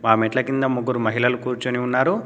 ఆ మెట్ల కింద ముగ్గురు మహిళలు కూర్చొని ఉన్నారు.